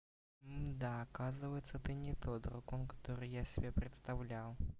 мда оказывается ты не тот дракон который я себе представлял